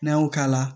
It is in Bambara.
N'an y'o k'a la